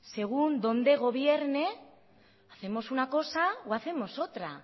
según dónde gobierne hacemos una cosa o hacemos otra